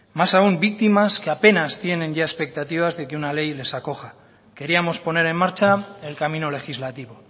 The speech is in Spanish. más aún víctimas que apenas tienen ya expectativas de que una ley les acoja queríamos poner en marcha el camino legislativo